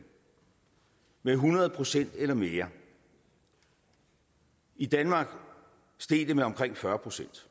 med hundrede procent eller mere i danmark steg det med omkring fyrre procent